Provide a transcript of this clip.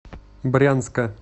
брянска